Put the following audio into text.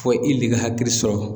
Fɔ i le ka hakili sɔrɔ.